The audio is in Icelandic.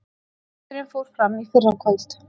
Fundurinn fór fram í fyrrakvöld